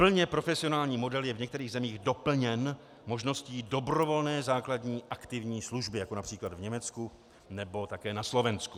Plně profesionální model je v některých zemích doplněn možností dobrovolné základní aktivní služby, jako například v Německu nebo také na Slovensku.